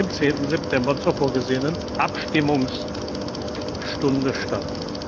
10. September, zur vorgesehenen Abstimmungsstunde statt.